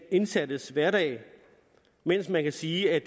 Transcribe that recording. indsattes hverdag mens man kan sige at